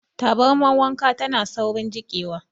Tabarmar wanka tana saurin jiƙewa.